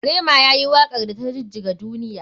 Rema yayi wakar da ta jijjiga duniya.